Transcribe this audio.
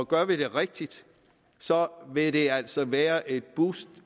gør vi det rigtigt vil det altså være et boost